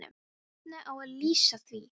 En hvernig á að LÝSA því?